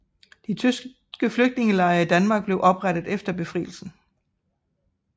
De tyske Flygtningelejre i Danmark blev oprettet efter befrielsen